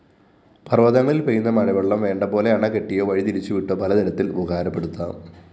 പര്‍വതങ്ങളില്‍ പെയ്യുന്ന മഴവെള്ളം വേണ്ടപോലെ അണകെട്ടിയോ വഴിതിരിച്ചുവിട്ടോ പലതരത്തില്‍ ഉപകാരപ്പെടുത്താം